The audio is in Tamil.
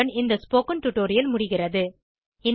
இத்துடன் இந்த ஸ்போகன் டுடோரியல் முடிகிறது